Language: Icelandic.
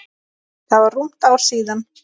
Það var rúmt ár síðan.